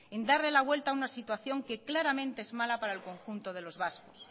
en darle la vuelta a una situación que claramente es mala para el conjunto de los vascos